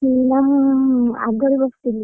ମୁଁ ଆଗରେ ବସିଥିଲି।